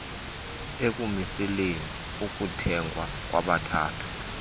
ekumiseleni ukuthengwa kwabathatha